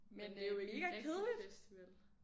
Men mega kedeligt